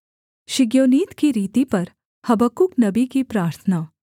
शिग्योनीत की रीति पर हबक्कूक नबी की प्रार्थना